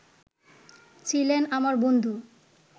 ছিলেন আমার বন্ধু